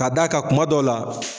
K'a d' a ka kuma dɔ la.